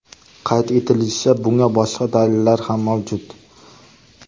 Qayd etilishicha, bunga boshqa dalillar ham mavjud.